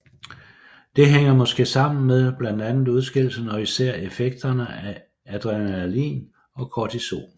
Det hænger måske sammen med blandt andet udskillelsen og især effekterne adrenalin og kortisol